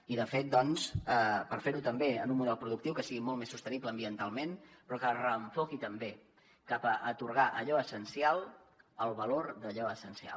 i de fet doncs per fer ho també en un model productiu que sigui molt més sostenible ambientalment però que es reenfoqui també cap a atorgar a allò essencial el valor d’allò essencial